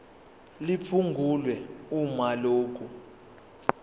liphungulwe uma lokhu